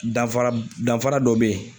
Danfara danfara dɔ bɛ yen.